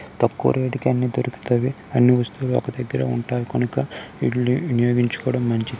తక్కువ రేట్ కి అన్నీ దొరుకుతవి అన్ని వస్తువులు ఒక దగ్గర ఉంటాయి కొనుకో వీటిని వినియోగించుకోవడం మంచిది.